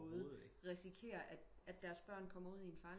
Måde risikere at deres børn kommer ud i en farlig